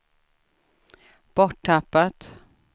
borttappat